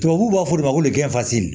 Tubabuw b'a fɔ olu ma ko